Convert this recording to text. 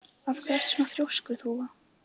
Af hverju ertu svona þrjóskur, Þúfa?